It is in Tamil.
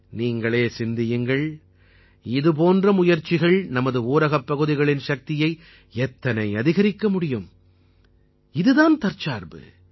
நீங்களே சிந்தியுங்கள் இதுபோன்ற முயற்சிகள் நமது ஊரகப்பகுதிகளின் சக்தியை எத்தனை அதிகரிக்கமுடியும் இதுதான் தற்சார்பு